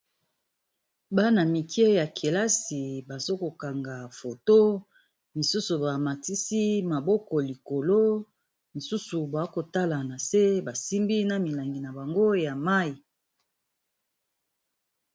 Bana mike ya kelasi bazo ko kanga foto, misusu ba matisi maboko likolo misusu ba kotala na se ba simbi na milangi na bango ya mayi.